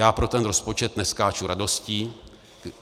Já pro ten rozpočet neskáču radostí.